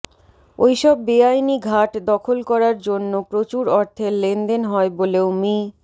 ওইসব বেআইনি ঘাট দখল করার জন্য প্রচুর অর্থের লেনদেন হয় বলেও মি